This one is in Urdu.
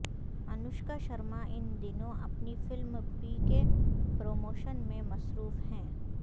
انوشکا شرما ان دنوں اپنی فلم پی کے پروموشن میں مصروف ہیں